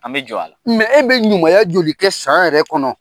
An bɛ jɔn a la mɛ e bɛ ɲumanya joli kɛ san yɛrɛ kɔnɔ?